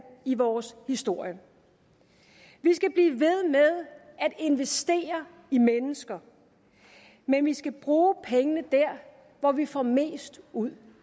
i vores historie vi skal blive ved med at investere i mennesker men vi skal bruge pengene dér hvor vi får mest ud